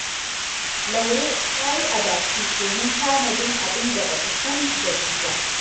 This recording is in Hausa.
Laure ta yi adashi domin tanadin abin da ba ta san da shi ba